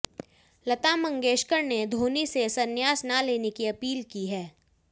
लता मंगेशकर ने धोनी से संन्यास ना लेने की अपील की हैं